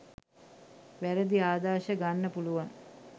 වැරැදි ආදර්ශ ගන්න පුළුවන්.